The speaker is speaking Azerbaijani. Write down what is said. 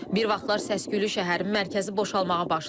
Bir vaxtlar səs-küylü şəhərin mərkəzi boşalmağa başlayıb.